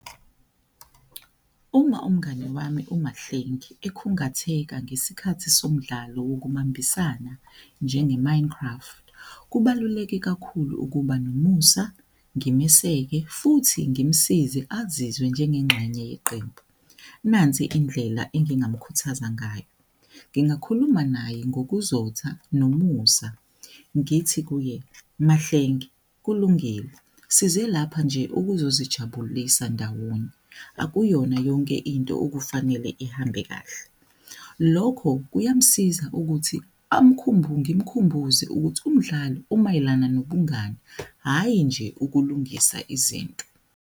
Uma umngani wami uMahlengi ekhungatheka ngesikhathi somdlalo wokubambisana njenge-mind craft. Kubaluleke kakhulu ukuba nomusa ngimeseke futhi ngimsize azizwe njengengxenye yeqembu. Nansi indlela engingamukhuthaza ngayo, ngingakhuluma naye ngokuzotha nomusa, ngithi kuye Mahlengi kulungile size lapha nje ukuzozijabulisa ndawonye akuyona yonke into okufanele ihambe kahle. Lokho kuyamsiza ukuthi ngimkhumbuze ukuthi umdlalo umayelana nobungani, hhayi nje ukulungisa izinto.